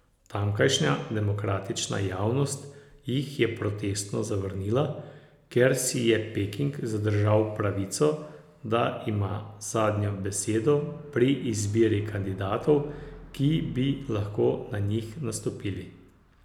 Tamkajšnja demokratična javnost jih je protestno zavrnila, ker si je Peking zadržal pravico, da ima zadnjo besedo pri izbiri kandidatov, ki bi lahko na njih nastopili.